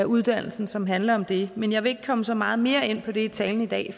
uddannelsen som handler om det men jeg vil ikke komme så meget mere ind på det i talen i dag